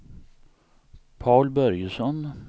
Paul Börjesson